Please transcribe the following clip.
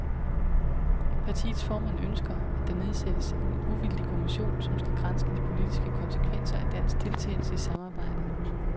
Partiets formand ønsker, at der nedsættes en uvildig kommission, som skal granske de politiske konsekvenser af dansk deltagelse i samarbejdet.